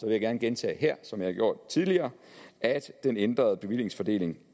jeg gerne gentage her som jeg har gjort tidligere at den ændrede bevillingsfordeling